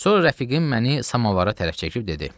Sonra rəfiqim məni samovara tərəf çəkib dedi: